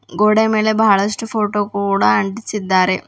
ಗೋಡೆ ಮೇಲೆ ಬಹಳಷ್ಟು ಫೋಟೋ ಕೂಡ ಅಂಟಿಸಿದ್ದಾರೆ.